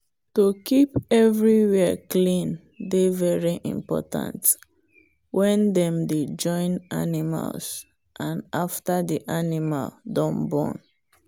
to keep everywhere clean dey very important when dem dey join animals and after the animal don born.